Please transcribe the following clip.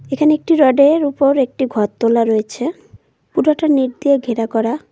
এখানে একটি রডের উপর একটি ঘর তোলা রয়েছে পুরাটা নিট দিয়ে ঘেরা করা।